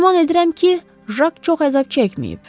Güman edirəm ki, Jak çox əzab çəkməyib.